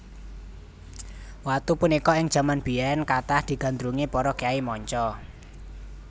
Watu punika ing jaman biyèn kathah digandrungi para kyai manca